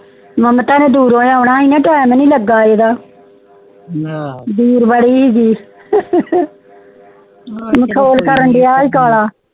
ਮਮਤਾ ਨੇ ਦੂਰੋਂ ਆਉਣਾ ਹੀ ਨਾ time ਹੀ ਨੀ ਲੱਗਾ ਈਦ ਦੂਰ ਬੜੀ ਸੀ ਮਖੌਲ ਕਰਨ ਦੇਇ ਸੀ ਕਲਾ